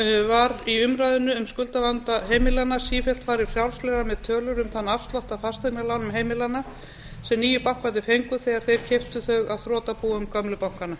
var í umræðunni um skuldavanda heimilanna sífellt farið frjálslega með tölur um þann afslátt á fasteignalánum heimilanna sem nýju bankarnir fengu þegar þeir keyptu þau af þrotabúum gömlu bankanna